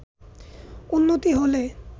উন্নতি হলে